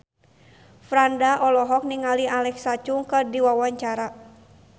Franda olohok ningali Alexa Chung keur diwawancara